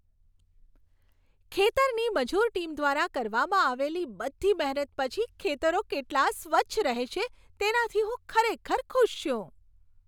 ખેતરની મજૂર ટીમ દ્વારા કરવામાં આવેલી બધી મહેનત પછી ખેતરો કેટલા સ્વચ્છ રહે છે તેનાથી હું ખરેખર ખુશ છું.